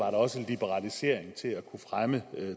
også liberalisering til at kunne fremme